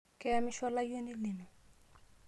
Keyamishe olayioni lino?